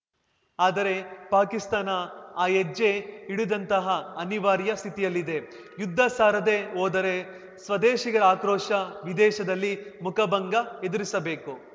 ಆದರೆ ಪಾಕಿಸ್ತಾನ ಆ ಹೆಜ್ಜೆ ಇಡದಂತಹ ಅನಿವಾರ‍್ಯ ಸ್ಥಿತಿಯಲ್ಲಿದೆ ಯುದ್ಧ ಸಾರದೇ ಹೋದರೆ ಸ್ವದೇಶಿಗರ ಆಕ್ರೋಶ ವಿದೇಶದಲ್ಲಿ ಮುಖಭಂಗ ಎದುರಿಸಬೇಕು